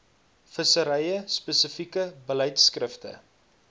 vissery spesifieke beleidskrifte